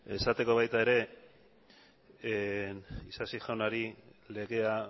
esateko baita ere isasi jaunari legea